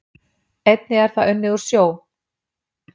Einnig er það unnið úr sjó